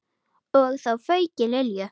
Og þá fauk í Lilju.